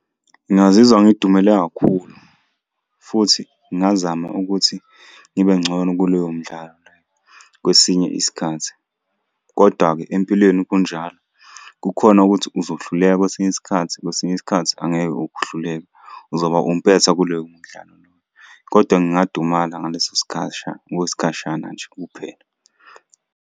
Ngingazizwa ngidumele kakhulu futhi ngingazama ukuthi ngibe ngcono kuloyo mdlalo kwesinye isikhathi, kodwa-ke empilweni kunjalo. Kukhona ukuthi uzohluleka kwesinye isikhathi, kwesinye isikhathi angeke uhluleke. Uzoba umpetha kuleyo mdlalo loyo, kodwa ngingadumala ngaleso okwesikhashana nje kuphela.